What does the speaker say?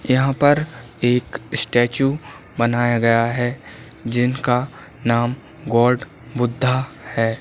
यहाँ पर एक स्टेचू बनाया गया है जिनका नाम गॉड बुद्धा है।